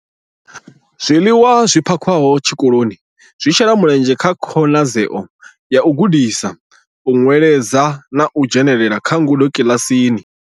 Zwiḽiwa zwi phakhiwaho tshikoloni zwi shela mulenzhe kha khonadzeo ya u gudisa, u nweledza na u dzhenela kha ngudo kiḽasini.